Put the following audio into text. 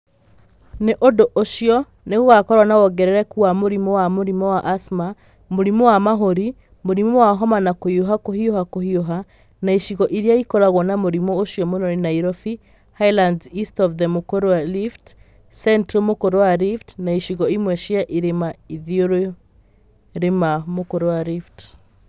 Nĩ ũndũ ũcio gũgakorũo na wongerereku wa mũrimũ wa mũrimũ wa asthma, mũrimũ wa mahũri, mũrimũ wa homa na kũhiũha kũhiũha kũhiũha, na icigo iria ikoragwo na mũrimũ ũcio mũno nĩ Nairobi, Highlands East of the m ũk ũr ũ wa rift, Central m ũk ũr ũ wa rift na icigo imwe cia irĩma ithoĩro rĩa m ũk ũr ũ wa rift.